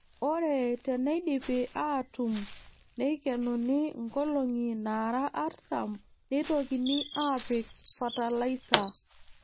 Ore teneidipi aatuun neikenuni nkolong'i naara artam neitokini aapik fatalaisa.